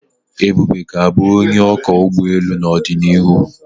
Ebube ga-abụ onye ọkwọ ụgbọ elu n'ọdịnihu.